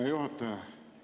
Hea juhataja!